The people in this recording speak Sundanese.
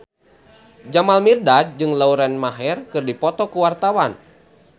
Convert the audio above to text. Jamal Mirdad jeung Lauren Maher keur dipoto ku wartawan